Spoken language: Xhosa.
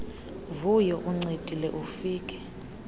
vuyo uncedile ufike